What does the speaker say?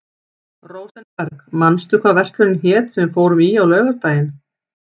Rósenberg, manstu hvað verslunin hét sem við fórum í á laugardaginn?